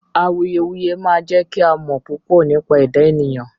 Awùyewùyẹ̀ máa jẹ̀ kí à mọ̀ púpọ̀ nípa ẹdá ènìyàn